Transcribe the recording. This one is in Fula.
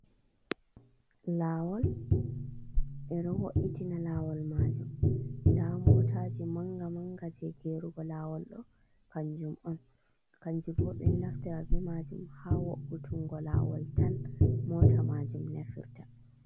Laawol, e ɗo wo’'itina laawol maajum, nda mootaji mannga-mannga jey geerugo laawol ɗo, kanjum on, kanjum boo ɓe naftira bee maajum haa wo''utunngo laawol tan moota maajum nafirta.